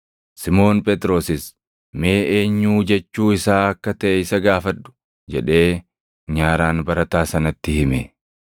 Simoon Phexrosis, “Mee eenyuu jechuu isaa akka taʼe isa gaafadhu!” jedhee nyaaraan barataa sanatti hime.